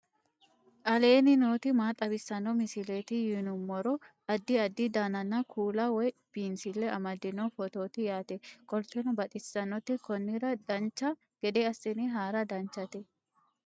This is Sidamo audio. aleenni nooti maa xawisanno misileeti yinummoro addi addi dananna kuula woy biinsille amaddino footooti yaate qoltenno baxissannote konnira dancha gede assine haara danchate